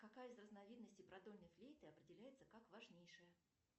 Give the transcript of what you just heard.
какая из разновидностей продольной флейты определяется как важнейшая